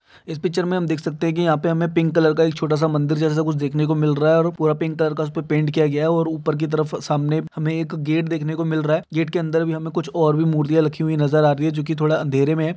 इस पिक्चर में हम देख सकते है यहाँ पे हमें पिंक कलर का एक छोटा सा मन्दिर जेसा कुछ देखने को मिल रहा है और वो पूरा पिंक कलर का उसपे पेंट किया गया है और उपर की तरफ सामने हमे एक गेट देखने को मिल रहा है गेट के अंदर भि हमे कुछ और मूर्तियां राखी हुई नजार आ रही है जो की थोडा अंधरे में है।